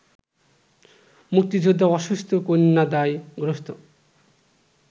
মুক্তিযোদ্ধা, অসুস্থ, কন্যাদায়গ্রস্ত